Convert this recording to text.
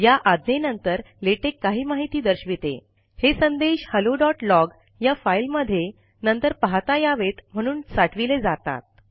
या आज्ञेनंतर लेटेक काही माहिती दर्शविते हे संदेश हॅलोलॉग या फाइल मधे नंतर पाहता यावेत म्हणून साठविले जातात